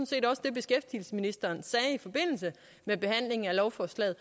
set også det beskæftigelsesministeren sagde i forbindelse med behandlingen af lovforslaget